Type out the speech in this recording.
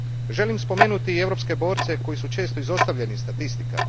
Želim spomenuti i europske borce koji su često izostavljeni iz statistika.